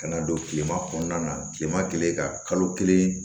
Ka na don kilema kɔnɔna na kilema kɛlen ka kalo kelen